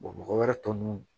mɔgɔ wɛrɛ tɔ nunnu